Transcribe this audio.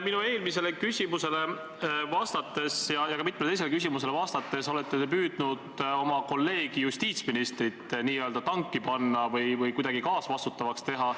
Minu eelmisele küsimusele ja ka mitmele teisele küsimusele vastates olete te püüdnud oma kolleegi justiitsministrit n-ö tanki panna või kuidagi kaasvastutavaks teha.